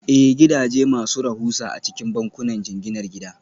Ee, gidaje masu rahusa a cikin bankunan jinginar gida